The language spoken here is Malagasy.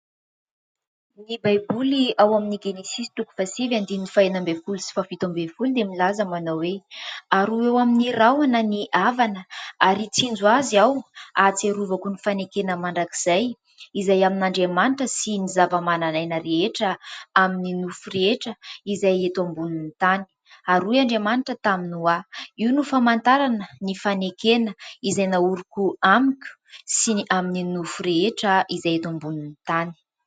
Ny baiboly ao amin'ny genisisy toko faha sivy andininy fah enina ambin'ny folo sy faha fito ambin'ny folo dia milaza manao hoe : ary ho eo amin'ny rahona ny avana ary hitsinjo azy aho, ahatsiarovako ny fanekena mandrakizay, izay amin' Andriamanitra sy ny zava-manan'aina rehetra amin'ny nofo rehetra izay eto ambonin'ny tany. Ary hoy Andriamanitra tamin' i Noa : io no famantarana ny fanekena izay nahoriko amiko sy ny amin'ny nofo rehetra izay eto ambonin'ny tany.